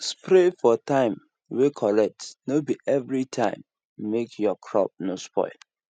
spray for time way correct no be everytime make your crop no spoil